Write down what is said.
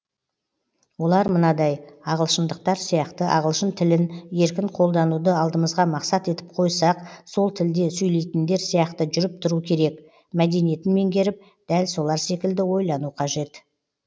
олар мынадай ағылшындықтар сияқты ағылшын тілін еркін қолдануды алдымызға мақсат етіп қойсақ сол тілде сөйлейтіндер сияқты жүріп тұру керек мәдениетін меңгеріп дәл солар секілді ойлану қажет